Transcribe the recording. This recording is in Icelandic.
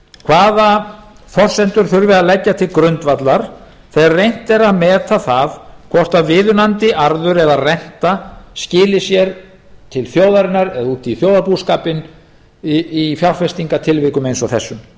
hvaða forsendur þurfi að leggja til grundvallar þegar reynt er að meta það hvort viðunandi arður eða renta skili sér til þjóðarinnar eða út í þjóðarbúskapinn í fjárfestingartilvikum eins og þessum